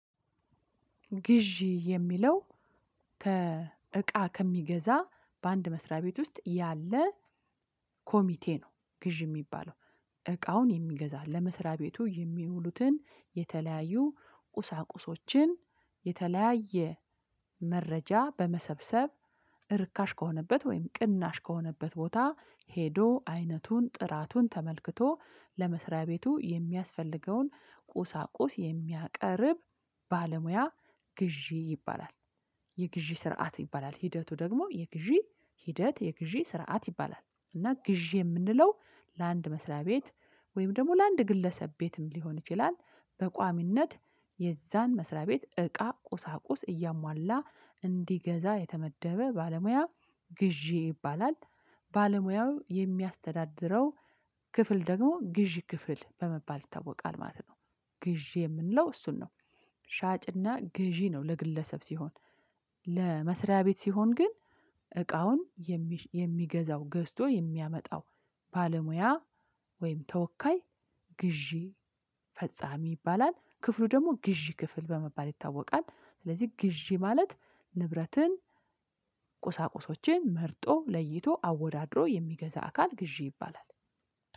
ግዢ የሚለው ከእቃ ከሚገዛ በአንድ መስሪያ ቤት ውስጥ ያለ ኮሚቴ ነው። ግዢ የሚባለው። እቃውን የሚገዛ ለመስሪያ ቤቱ የሚውሉትን የተለያዩ ቁሳቁሶችን የተለያየ መረጃ በመሰብሰብ ርካሽ ከሆነበት ወይም ቅናሽ ከሆነበት ቦታ ሄዶ አይነቱን ጥራቱን ተመልክቶ ለመስሪያ ቤቱ የሚያስፈልገውን ቁሳቁስ የሚያቀርብ ባለሙያ ግዢ ይባላል። የግዢ ስርዓት ይባላል ሂደቱ ደግሞ የግዢ ሂደት የግዢ ስርዓት ይባላል። እና ግዢ የምንለው ለአንድ መስሪያ ቤት ወይም ደግሞ ለአንድ ግለሰብ ቤትም ሊሆን ይችላል። በቋሚነት የዛን መስሪያ ቤት እቃ ቁሳቁስ እያሟላ እንዲገዛ የተመደበ ባለሙያ ግዢ ይባላል። ባለሙያው የሚያስተዳድረው ክፍል ደግሞ ግዢ ክፍል በመባል ይታወቃል ማለት ነው። ግዢ የምንለው እሱን ነው። ሻጭና ግዢ ነው ለግለሰብ ሲሆን ለመስሪያ ቤት ሲሆን ግን እቃውን የሚገዛው ገዝቶ የሚያመጣው ባለሙያ ወይም ተወካይ ግዢ ፈጻሚ ይባላል። ክፍሉ ደግሞ ግዢ ክፍል በመባል ይታወቃል። ስለዚህ ግዢ ማለት ንብረትን ቁሳቁሶችን መርጦ ለይቶ አወዳድሮ የሚገዛ አካል ግዢ ይባላል።